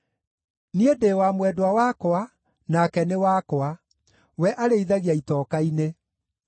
Niĩ ndĩ wa mwendwa wakwa, nake nĩ wakwa; we arĩithagia itoka-inĩ.